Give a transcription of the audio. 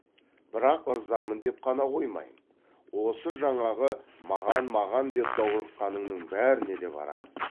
бірақ ырзамын деп қана қоймаймын осы жаңағы маған маған деп даурыққаныңның бәріне де барам